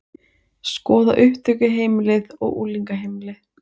Skoða upptökuheimilið og unglingaheimilið